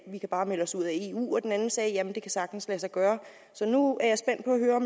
vi kan bare melde os ud af eu og den anden sagde jamen det kan sagtens lade sig gøre så nu er